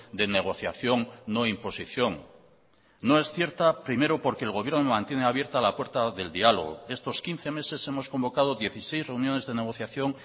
de negociación no imposición no es cierta primero porque el gobierno mantiene abierta la puerta del diálogo estos quince meses hemos convocado dieciséis reuniones de negociación